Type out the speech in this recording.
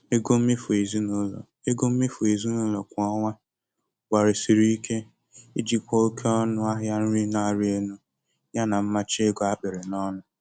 Ego mmefu ezinụlọ Ego mmefu ezinụlọ kwa ọnwa gbalịsiri ike ijikwa oke ọnụ ahịa nri na-arị elu yana mmachi ego a kapịrị ọnụ.